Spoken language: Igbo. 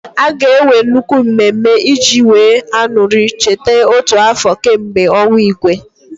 A ga-enwe nnukwu mmemme iji wee aṅuri ncheta otu afọ kemgbe ọnwụ Igwe.